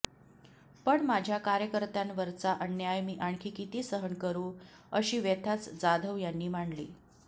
पण माझ्या कार्यकर्त्यांवरचा अन्याय मी आणखी किती सहन करू अशी व्यथाच जाधव यांनी मांडली